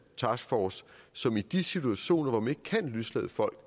taskforce som i de situationer hvor man ikke kan løslade folk